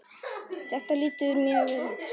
Þetta lítur mjög vel út.